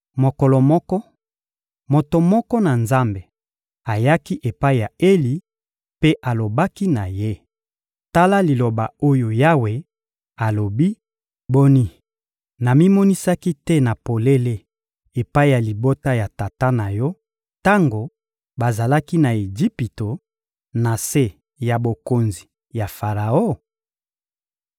Mokolo moko, moto moko na Nzambe ayaki epai ya Eli mpe alobaki na ye: — Tala liloba oyo Yawe alobi: «Boni, namimonisaki te na polele epai ya libota ya tata na yo tango bazalaki na Ejipito, na se ya bokonzi ya Faraon?